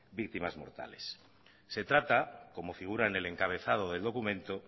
víctimas mortales se trata como figura en el encabezado del documento